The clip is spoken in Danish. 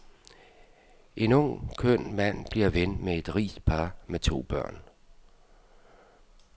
En ung, køn mand bliver ven med et rigt par med to børn.